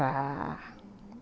Já...Uhum.